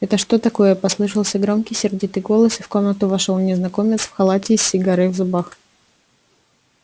это что такое послышался громкий сердитый голос и в комнату вошёл незнакомец в халате и с сигарой в зубах